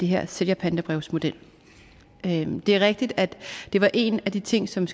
her sælgerpantebrevsmodel det er rigtigt at det var en af de ting som